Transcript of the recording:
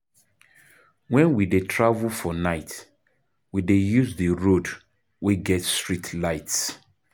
Wen we dey travel for night, we dey use di road wey get streetlights.